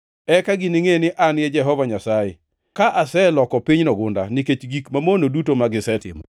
Eka giningʼe ni An e Jehova Nyasaye, ka aseloko pinyno gunda nikech gik mamono duto magisetimo.’